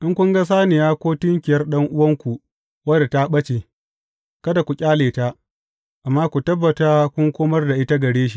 In kun ga saniya ko tunkiyar ɗan’uwanku wadda ta ɓace, kada ku ƙyale ta, amma ku tabbata kun komar da ita gare shi.